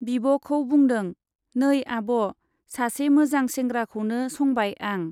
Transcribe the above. बिब' खौ बुंदों , नै आब', सासे मोजां सेंग्राखौनो संबाय आं।